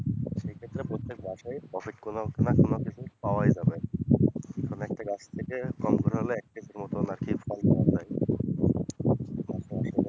সেইক্ষেত্রে প্রত্যেক মাসেই profit কোন না কোন দিকে পাওয়াই যাবে, মানে একটা গাছ থেকে কম করে হলেও এক কেজির মতন আরকি ফল পাওয়াই যায়।